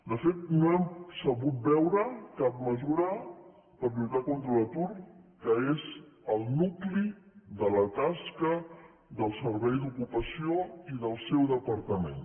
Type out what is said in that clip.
de fet no hem sabut veure cap mesura per lluitar contra l’atur que és el nucli de la tasca del servei d’ocupació i del seu departament